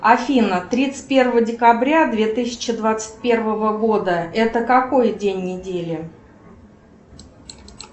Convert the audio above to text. афина тридцать первого декабря две тысячи двадцать первого года это какой день недели